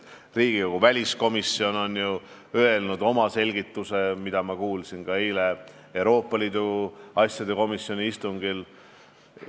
Riigikogu väliskomisjon on öelnud oma selgituse, mida ma kuulsin ka eile Euroopa Liidu asjade komisjoni istungil.